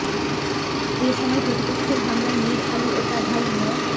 এ সময় প্রতিপক্ষের হামলায় মীর আলী ও তার ভাই মো